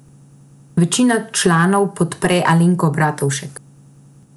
Večina članov podpre Alenko Bratušek.